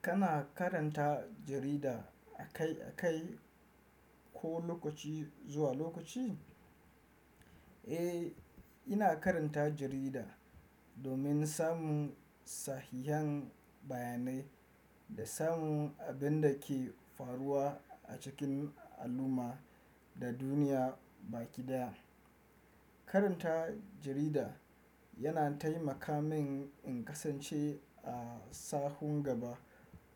Kana karanta jarida akai-akai ko lokaci zuwa lokaci? Eh, ina karanta jarida domin samun sahihhen bayanai da samun abin da ke faruwa a cikin al'umma da duniya baki daya. Karanta jarida yana taimaka min in kasance a sahun gaba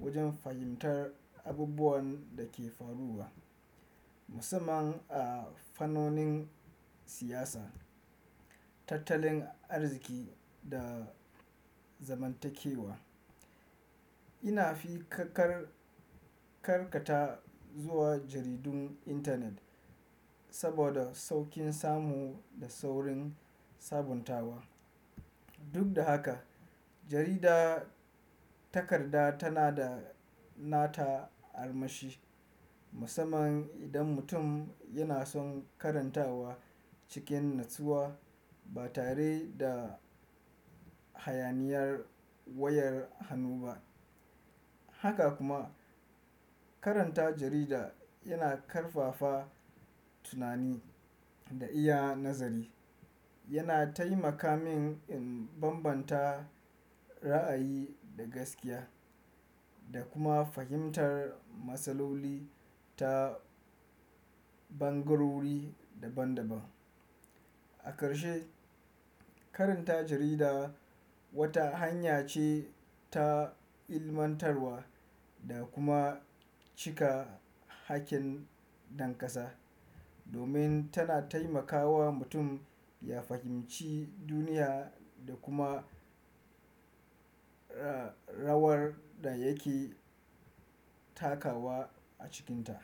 wajen fahimtar abubuwan da ke faruwa, musamman a fannonin siyasa, tattalin arziki da zamantakewa. Ina fi kar karkata zuwa jaridun intanet saboda saukin samu da saurin sabuntawa. Duk da haka, jarida takarda tana da nata armashi, musamman idan mutum yana son karantawa cikin natsuwa ba tare da hayaniyar wayar hannu ba. Haka kuma, karanta jarida yana ƙarfafa tunani da iya nazari. Yana taimaka min in bambanta ra'ayi da gaskiya, da kuma fahimtar matsaloli ta bangarori daban-daban. A karshe, karanta jarida wata hanya ce ta ilmantarwa da kuma cika hakkin dankasa, domin tana taimakawa mutum ya fahimci duniya da kuma ra rawar da yake takawa a cikinta.